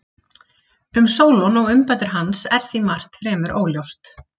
Um Sólon og umbætur hans er því margt fremur óljóst.